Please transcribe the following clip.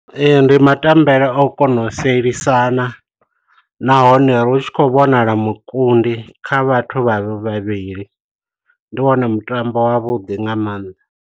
Ndi matembele au kona u sielisana na hone ritshi khou vhonala mukundi kha vhathu vhavhili ndi wone mutambo wavhuḓi nga maanḓa.